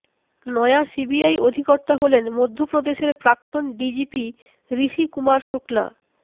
নয়া সিবিআই অধিকর্তা হলেন মধ্য প্রদেশের প্রাক্তন ডিজিপি ঋষি কুমার শুক্লা